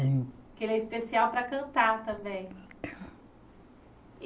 Hein. Que ele é especial para cantar também.